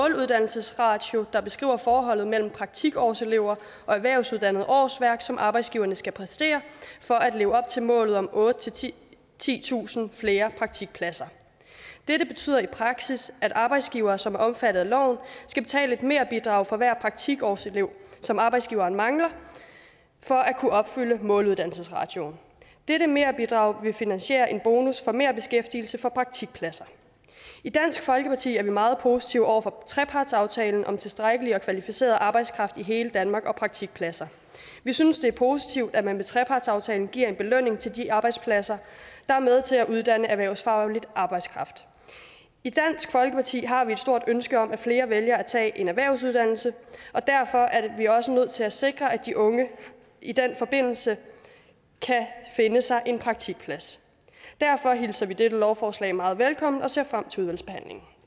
måluddannelsesratio der beskriver forholdet mellem praktikårselever og erhvervsuddannede årsværk som arbejdsgiverne skal præstere for at leve op til målet om otte tusind titusind flere praktikpladser dette betyder i praksis at arbejdsgivere som er omfattet af loven skal betale et merbidrag for hver praktikårselev som arbejdsgiveren mangler for at kunne opfylde måluddannelsesratioen dette merbidrag vil finansiere en bonus for merbeskæftigelse for praktikpladser i dansk folkeparti er vi meget positive over for trepartsaftalen om tilstrækkelig og kvalificeret arbejdskraft i hele danmark og praktikpladser vi synes det er positivt at man med trepartsaftalen giver en belønning til de arbejdspladser der er med til at uddanne erhvervsfaglig arbejdskraft i dansk folkeparti har vi et stort ønske om at flere vælger at tage en erhvervsuddannelse og derfor er vi også nødt til at sikre at de unge i den forbindelse kan finde sig en praktikplads derfor hilser vi dette lovforslag meget velkommen og ser frem til udvalgsbehandlingen